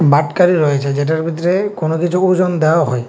বাটখারি রয়েছে যেটার ভিতরে কোনো কিছু ওজন দেওয়া হয়।